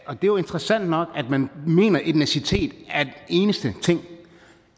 er jo interessant nok at man mener at etnicitet er den eneste ting